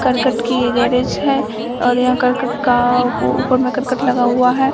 करकट की ये गेरेज है और यहाँ करकट का ऊपर में करकट लगा हुआ है।